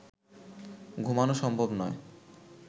ঘুমানো সম্ভব নয়